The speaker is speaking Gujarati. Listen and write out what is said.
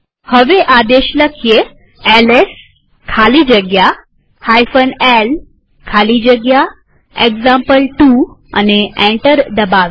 હવે આદેશ એલએસ ખાલી જગ્યા l ખાલી જગ્યા એક્ઝામ્પલ2 લખી એન્ટર દબાવીએ